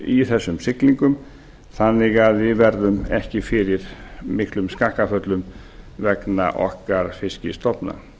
í þessum siglingum þannig að við verðum ekki fyrir miklum skakkaföllum vegna okkar fiskstofna